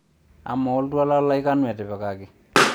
amaa oltwala lai kanu etipikaki